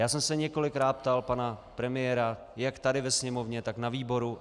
Já jsem se několikrát ptal pana premiéra jak tady ve Sněmovně, tak na výboru.